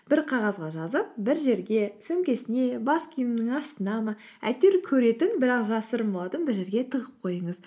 бір қағазға жазып бір жерге сөмкесіне бас киімінің астына ма әйтеуір көретін бірақ жасырын болатын бір жерге тығып қойыңыз